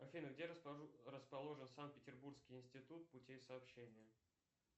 афина где расположен санкт петербургский институт путей сообщения